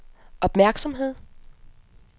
opmærksomhed